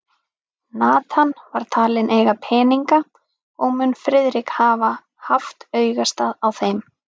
Nathan var talinn eiga peninga, og mun Friðrik hafa haft augastað á þeim.